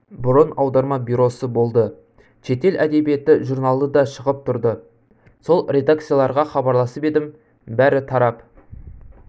бұрын аударма бюросы болды шетел әдебиеті журналы да шығып тұрды сол редакцияларға хабарласып едім бәрі тарап